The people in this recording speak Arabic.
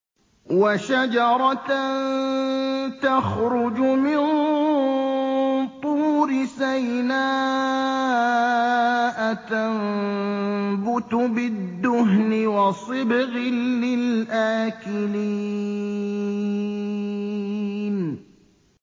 وَشَجَرَةً تَخْرُجُ مِن طُورِ سَيْنَاءَ تَنبُتُ بِالدُّهْنِ وَصِبْغٍ لِّلْآكِلِينَ